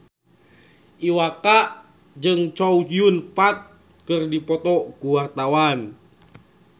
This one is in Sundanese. Iwa K jeung Chow Yun Fat keur dipoto ku wartawan